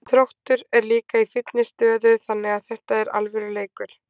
Þróttur er líka í fínni stöðu þannig að þetta er alvöru leikur.